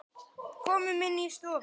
Komum inn í stofu!